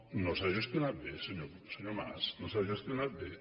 no s’ha gestionat bé senyor mas no s’ha gestionat bé